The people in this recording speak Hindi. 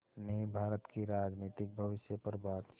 ने भारत के राजनीतिक भविष्य पर बातचीत